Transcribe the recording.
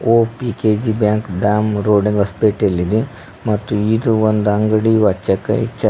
ಒಪ್ಪ್ P K G bank dam road ಹೊಸಪೇಟೆಯಲ್ಲಿದೆ ಮತ್ತು ಇದು ಒಂದು ಅಂಗಡಿ ಆಚಕ್ಕ ಇಚಕ್ಕ--